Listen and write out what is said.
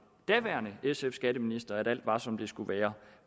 daværende sf skatteminister at alt var som det skulle være